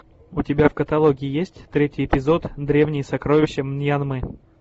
у тебя в каталоге есть третий эпизод древние сокровища мьянмы